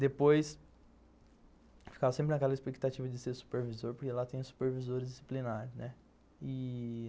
Depois, ficava sempre naquela expectativa de ser supervisor, porque lá tem o supervisor disciplinar, né? e...